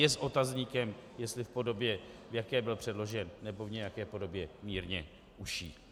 Je s otazníkem, jestli v podobě, v jaké byl předložen, nebo v nějaké podobě mírně užší.